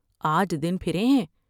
آج دن پھرے ہیں ۔